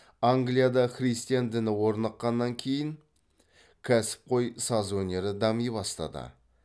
англияда христиан діні орныққаннан кейін кәсіпқой саз өнері дами бастады